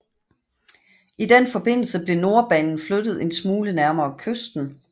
I den forbindelse blev Nordbanen flyttet en smule nærmere kysten